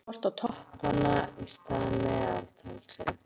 Það er frekar horft á toppanna í stað meðaltalsins.